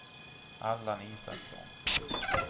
Allan Isaksson